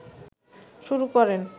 শুরু করেন